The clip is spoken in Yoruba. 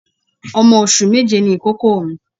Ọmọ oṣù méje ni ìkókó mi.